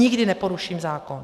Nikdy neporuším zákon.